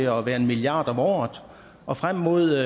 at være en milliard om året og frem mod